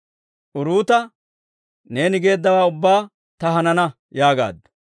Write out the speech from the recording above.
Uruuta, «Neeni geeddawaa ubbaa ta hanana» yaagaaddu.